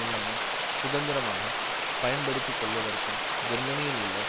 இல்லாமல் சுதந்திரமாக பயன்படுத்தி கொள்வதற்கும் ஜெர்மனியில் உள்ள